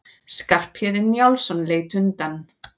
Skarphéðinn Njálsson leit undan.